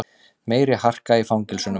Meiri harka í fangelsunum